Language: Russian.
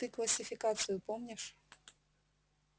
ты классификацию помнишь